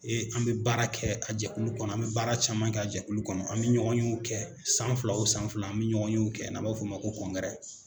Ee an bɛ baara kɛ a jɛkulu kɔnɔ , an bɛ baara caman kɛ a jɛkulu kɔnɔ, an bɛ ɲɔgɔn yew kɛ, san fila o san fila, n'i an bɛ ɲɔgɔn yew kɛ n'a b'a f'o ma ko kɔnkɛrɛ.